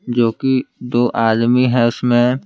जो कि दो आदमी है उसमें--